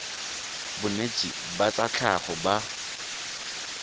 bonetshi ba tsa tlhago ba